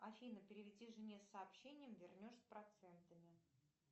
афина переведи жене сообщение вернешь с процентами